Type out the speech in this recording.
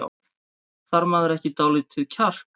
Þarf maður ekki dálítið kjark?